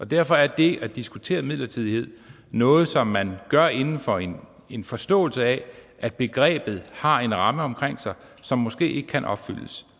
derfor er det at diskutere midlertidighed noget som man gør inden for en en forståelse af at begrebet har en ramme omkring sig som måske ikke kan opfyldes